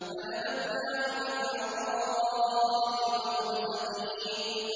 ۞ فَنَبَذْنَاهُ بِالْعَرَاءِ وَهُوَ سَقِيمٌ